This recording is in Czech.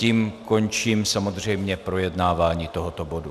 Tím končím samozřejmě projednávání tohoto bodu.